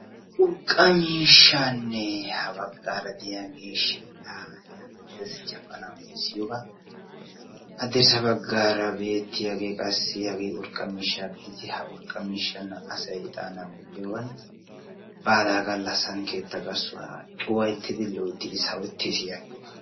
Urqqaa miishshanne ha baggara diyaage shidhdha yagettees jabana uttisiyooga haddirssa baggara beettiyaage urqqaa miishshaa gididi ha urqqaa miishshan asay ixana gujiyooga baala gallassan keettaa garissuwaa cuwaattidi loyttidi sawettees yagiyooga.